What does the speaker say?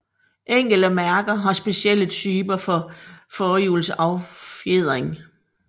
Enkelte mærker har specielle typer for forhjulsaffjedring